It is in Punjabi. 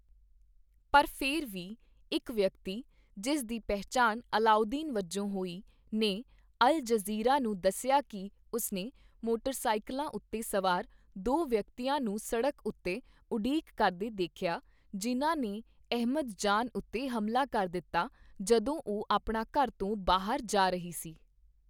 ਪਰ ਫਿਰ ਵੀ, ਇੱਕ ਵਿਅਕਤੀ, ਜਿਸ ਦੀ ਪਹਿਚਾਣ ਅਲਾਉਦੀਨ ਵਜੋਂ ਹੋਈ, ਨੇ ਅਲ ਜਜ਼ੀਰਾ ਨੂੰ ਦੱਸਿਆ ਕੀ ਉਸਨੇ ਮੋਟਰਸਾਈਕਲਾਂ ਉੱਤੇ ਸਵਾਰ ਦੋ ਵਿਅਕਤੀਆਂ ਨੂੰ ਸੜਕ ਉੱਤੇ ਉਡੀਕ ਕਰਦੇ ਦੇਖਿਆ, ਜਿਨ੍ਹਾਂ ਨੇ ਅਹਿਮਦ ਜਾਨ ਉੱਤੇ ਹਮਲਾ ਕਰ ਦਿੱਤਾ ਜਦੋਂ ਉਹ ਆਪਣਾ ਘਰ ਤੋਂ ਬਾਹਰ ਜਾ ਰਹੀ ਸੀ।